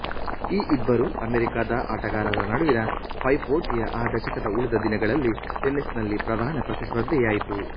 ಈ ಇಬ್ಬರೂ ಅಮೇರಿಕಾದ ಆಟಗಾರರ ನಡುವಿನ ಪೈಪೋಟಿಯು ಆ ದಶಕದ ಉಳಿದ ದಿನಗಳಲ್ಲಿ ಟೆನ್ನಿಸ್ ನಲ್ಲಿ ಪ್ರಧಾನ ಪ್ರತಿಸ್ಪರ್ಧೆಯಾಯಿತು